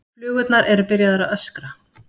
Flugurnar eru byrjaðar að öskra.